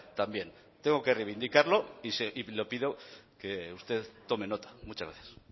también tengo que reivindicarlo y le pido que usted tome nota muchas gracias